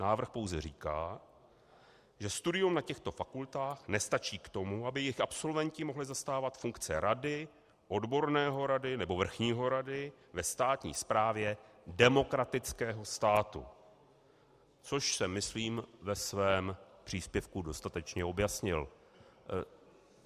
Návrh pouze říká, že studium na těchto fakultách nestačí k tomu, aby jejich absolventi mohli zastávat funkce rady, odborného rady nebo vrchního rady ve státní správě demokratického státu, což jsem myslím ve svém příspěvku dostatečně objasnil.